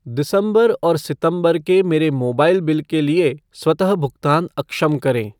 दिसंबर और सितंबर के मेरे मोबाइल बिल के लिए स्वतः भुगतान अक्षम करें।